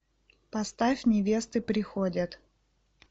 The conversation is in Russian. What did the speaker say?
поставь невесты приходят